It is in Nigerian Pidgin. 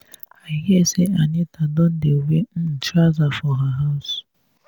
i hear say anita don dey wear um trouser for her house